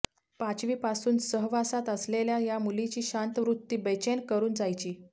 पाचवीपासून सहवासात असलेल्या या मुलीची शांत वृत्ती बेचैन करून जायची